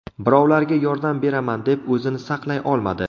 Birovlarga yordam beraman deb o‘zini saqlay olmadi.